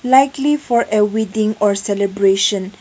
Likely for a wedding or celebration.